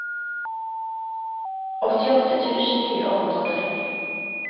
åttiåtte tusen fire hundre og tretti